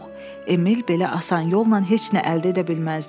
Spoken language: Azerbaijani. Emil belə asan yolla heç nə əldə edə bilməzdi.